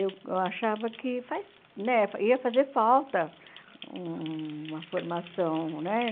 Eu eu achava que faz né ia fazer falta uma formação, né?